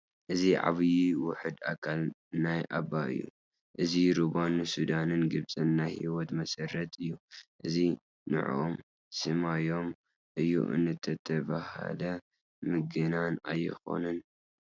እዚ ዓብዪ ውሕድ ኣካል ናይ ኣባይ እዩ፡፡ እዚ ሩባ ንሱዳንን ግብፅን ናይ ህይወቶም መሰረት እዩ፡፡ እዚ ንዖኦም ሰማዮም እዩ እንተተባህለ ምግናን ኣይኮነን፡፡